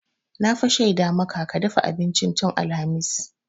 Na fa shaida maka ka dafa abincin tun alhamis.